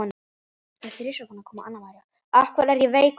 Af hverju er ég veikur?